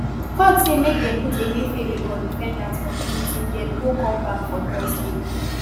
court say make dem put emefiele codefendant for prison till dem go come back for thursday